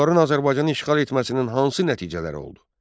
Monqolların Azərbaycanı işğal etməsinin hansı nəticələri oldu?